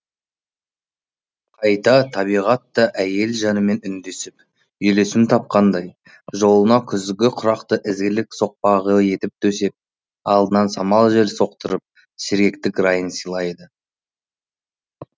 қайта табиғат та әйел жанымен үндесіп үйлесім тапқандай жолына күзгі құрақты ізгілік соқпағы етіп төсеп алдынан самал жел соқтырып сергектік райын сыйлады